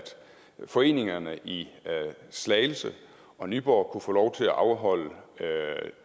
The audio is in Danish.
foreningerne i slagelse og nyborg kunne få lov til at afholde